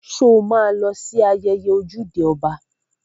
Sọ ma lọ sí ayẹyẹ ojúde ọba?